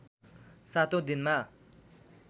सातौँ दिनमा